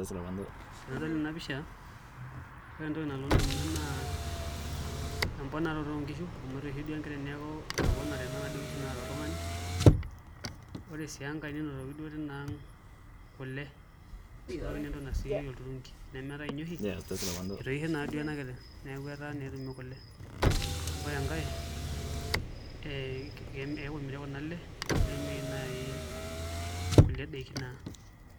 Tenadol ena pisha ore entoki nalotu indamunot naa emponaroto oonkishu amu etoishe duo enkiteng' neeku etoponate duo nkishu naata oltung'ani ore sii enkai nenoto duo tinaang' kule enotoki naa entoki naisotieki olturungi enemeetai inye oshi etoishe naa duo ena kiteng' neeku etaa naa etumi kule ore enkae ee ekuu emiri kuna ale ninying'unyieki naai nkulei daiki naa.